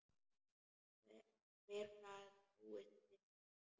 Hver gat búist við því?